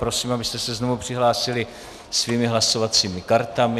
Prosím, abyste se znovu přihlásili svými hlasovacími kartami.